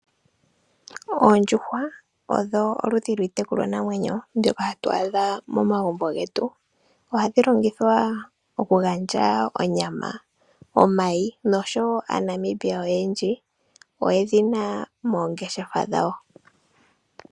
Oondjuhwa odho oludhi lwiitekulwanamwenyo, mbyoka hatu adha momagumbo getu. Ohadhi longithwa okugandja onyama, omayi, noshwo aaNamibia oyendji, oyedhina moongeshefa dhawo.